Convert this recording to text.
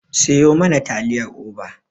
Siyo mana taliyar Oba.